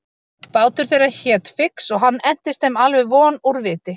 Bátur þeirra hét Fix og hann entist þeim alveg von úr viti.